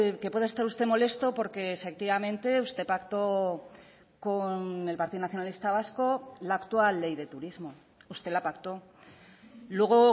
que pueda estar usted molesto porque efectivamente usted pactó con el partido nacionalista vasco la actual ley de turismo usted la pactó luego